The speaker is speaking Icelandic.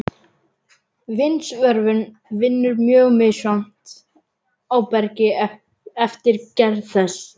Vindsvörfun vinnur mjög misjafnt á bergi eftir gerð þess.